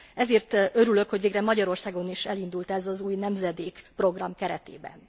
Ezért örülök, hogy végre Magyarországon is elindult ez az Új nemzedék program keretében.